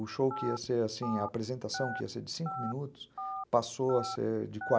O show que ia ser assim, a apresentação que ia ser de cinco minutos, passou a ser de (